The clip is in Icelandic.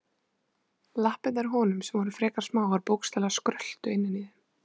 Lappirnar á honum, sem voru frekar smáar, bókstaflega skröltu innan í þeim.